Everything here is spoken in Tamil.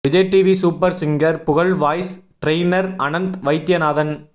விஜய் டிவி சூப்பர் சிங்கர் புகழ் வாய்ஸ் ட்ரெய்னர் அனந்த் வைத்யநாதன்